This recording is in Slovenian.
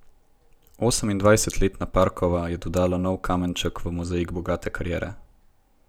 Osemindvajsetletna Parkova je dodala nov kamenček v mozaik bogate kariere.